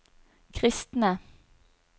kristne